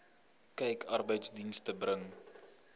kyk arbeidsdienste bring